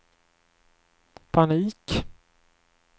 panik